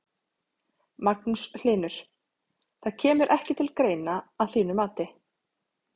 Magnús Hlynur: Það kemur ekki til greina að þínu mati?